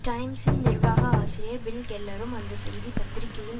டைம்சின் நிர்வாக ஆசிரியர் பில் கெல்லரும் அந்த செய்தி பத்திரிகையின்